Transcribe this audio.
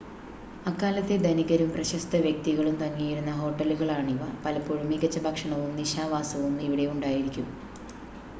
അക്കാലത്തെ ധനികരും പ്രശസ്ത വ്യക്തികളും തങ്ങിയിരുന്ന ഹോട്ടലുകളാണിവ പലപ്പോഴും മികച്ച ഭക്ഷണവും നിശാവാസവും ഇവിടെ ഉണ്ടായിരിക്കും